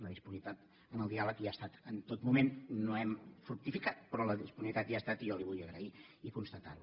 la disponibilitat en el diàleg hi ha estat en tot moment no hem fructificat però la disponibilitat hi ha estat i jo li ho vull agrair i constatar ho